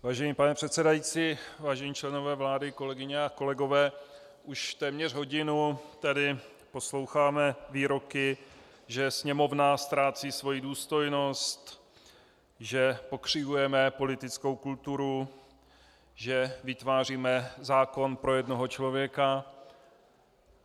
Vážený pane předsedající, vážení členové vlády, kolegyně a kolegové, už téměř hodinu tady posloucháme výroky, že Sněmovna ztrácí svoji důstojnost, že pokřivujeme politickou kulturu, že vytváříme zákon pro jednoho člověka.